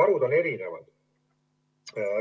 varud on erinevad.